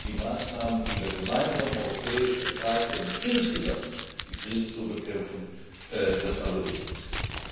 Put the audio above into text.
Darum sind die Maßnahmen, die wir gemeinsam in Europa ergreifen, um insgesamt die Krise zu bekämpfen, das Allerwichtigste.